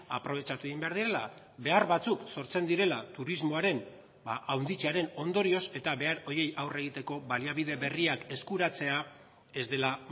aprobetxatu egin behar direla behar batzuk sortzen direla turismoaren handitzearen ondorioz eta behar horiei aurre egiteko baliabide berriak eskuratzea ez dela